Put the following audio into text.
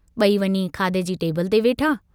बई वञी खाधे जी टेबल ते वेठा।